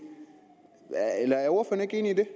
eneste